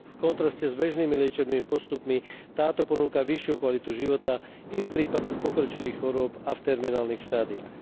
V kontraste s bežnými liečebnými postupmi, táto ponúka vyššiu kvalitu života i v prípadoch pokročilých chorôb a v terminálnych štádiách.